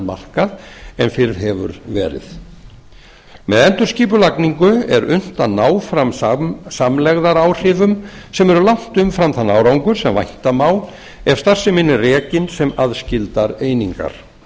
markað en fyrr hefur gerð með endurskipulagningu er unnt að ná fram samlegðaráhrifum sem eru langt umfram þann árangur sem vænta má ef starfsemin er rekin sem aðskildar einingar